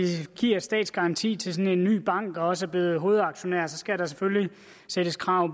giver statsgaranti til en ny bank og også er blevet hovedaktionærer skal der selvfølgelig stilles krav